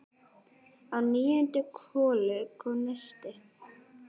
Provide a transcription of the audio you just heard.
Á níundu holu kom neisti.